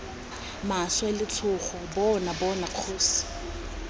maswe letshogo bona bona kgosi